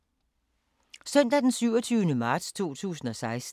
Søndag d. 27. marts 2016